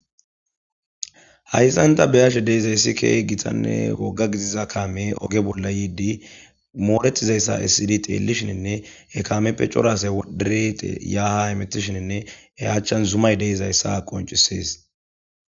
hayssanta beyashe deizaysi kehi gitanne woga gidiza kaame oge bolla yiidi mooletizayssa issidi xeellishininne ekameppe corase woddirite yaha imetishininne eyachchan zumay de'izayssa qoncisees